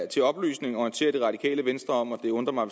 til oplysning orientere det radikale venstre om at det undrer mig